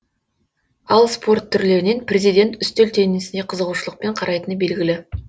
ал спорт түрлерінен президент үстел теннисіне қызығушылықпен қарайтыны белгілі